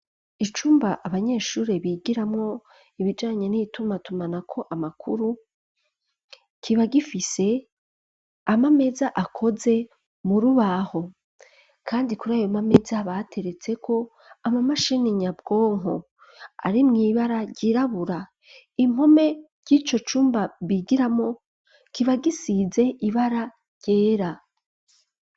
Icumba abanyeshure bigiramwo ibijanyo n'ibituma atuma na ko amakuru kiba gifise ama ameza akoze mu rubaho, kandi kuri ayo mameza bateretseko ama mashini nyabwonko ari mw'ibara ryirabura impome ry'ico cumba bigiramo kiba gisize ibara ryera.